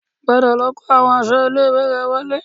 Padà lọ kó àwọn aṣọ ilé-ìwé rẹ wọlé